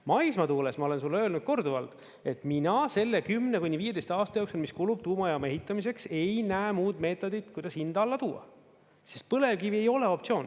Maismaatuules ma olen sulle öelnud korduvalt, et mina selle 10–15 aasta jooksul, mis kulub tuumajaama ehitamiseks, ei näe muud meetodit, kuidas hind alla tuua, sest põlevkivi ei ole optsioon.